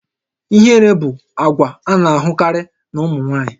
Ihere bụ àgwà a na-ahụkarị na ụmụ nwaanyị